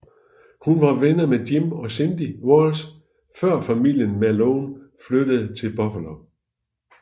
Hun var venner med Jim og Cindy Walsh før familien Malone flyttede til Buffalo